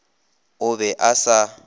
o be a sa e